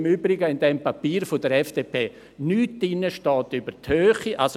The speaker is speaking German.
Im Übrigen steht im Papier der FDP nichts über die Höhe.